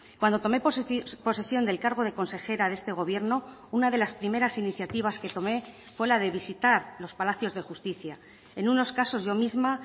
cuando tomé posesión del cargo de consejera de este gobierno una de las primeras iniciativas que tomé fue la de visitar los palacios de justicia en unos casos yo misma